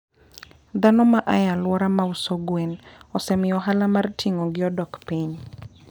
. Dhano ma a e alworano ma uso gwen, osemiyo ohala mar ting'ogi odok piny.